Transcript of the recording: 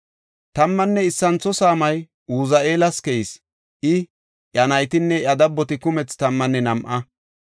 Tammanne issintho saamay Uzi7eelas keyis; I, iya naytinne iya dabboti kumethi tammanne nam7a.